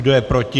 Kdo je proti?